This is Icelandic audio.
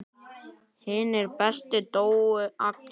Hinir bestu dóu allir.